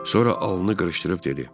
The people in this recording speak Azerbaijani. Sonra alnını qırışdırıb dedi.